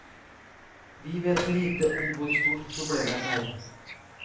Vi vet lite om hvor stort problemet er.